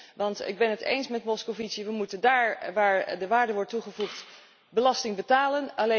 1 Ik ben het eens met de heer Moscovici we moeten daar waar de waarde wordt toegevoegd belasting betalen.